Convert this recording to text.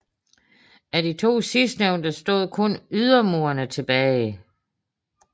Af de to sidstnævnte stod kun ydermurene tilbage